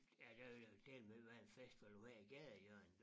Ja der jo dælme ved at være en festival på hvert gadehjørne